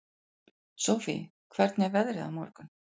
Sofie, hvernig er veðrið á morgun?